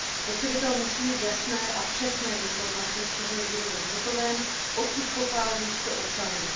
Spotřebitel musí mít jasné a přesné informace, z čeho je výrobek zhotoven, odkud pochází, co obsahuje.